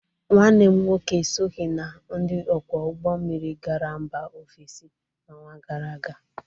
Nwanne m nwoke esoghi na ndị ọkwọ ụgbọ mmiri gara mba ofesi n'ọnwa gara aga.